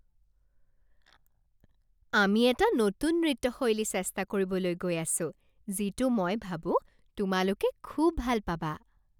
আমি এটা নতুন নৃত্য শৈলী চেষ্টা কৰিবলৈ গৈ আছো যিটো মই ভাবো তোমালোকে খুউব ভাল পাবা।